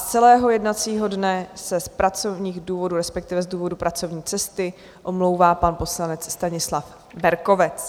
Z celého jednacího dne se z pracovních důvodů, respektive z důvodu pracovní cesty, omlouvá pan poslanec Stanislav Berkovec.